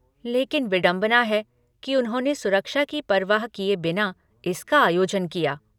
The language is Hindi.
लेकिन विडम्बना है कि उन्होंने सुरक्षा की परवाह किए बिना इसका आयोजन किया।